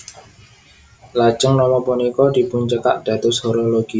Lajeng nama punika dipuncekak dados Horologium